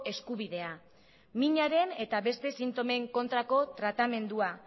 eskubidea minaren beste sintomen kontrako tratamendua